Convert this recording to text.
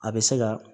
A bɛ se ka